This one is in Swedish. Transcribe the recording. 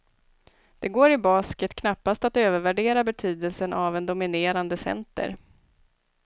Det går i basket knappast att övervärdera betydelsen av en dominerande center.